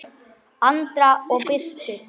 Andra og Birtu.